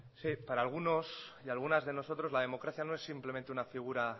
sí para algunos y algunas de nosotros la democracia no es simplemente una figura